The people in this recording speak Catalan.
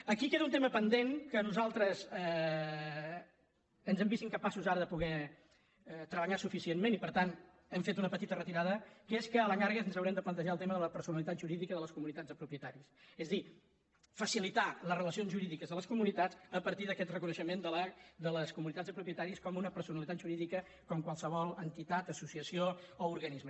aquí queda un tema pendent que nosaltres ens hem vist incapaços ara de poder treballar suficientment i per tant hem fet una petita retirada que és que a la llarga ens haurem de plantejar el tema de la personalitat jurídica de les comunitats de propietaris és a dir facilitar les relacions jurídiques de les comunitats a partir d’aquest reconeixement de les comunitats de propietaris com una personalitat jurídica com qualsevol entitat associació o organisme